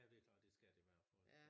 Ja det klart det skal det være for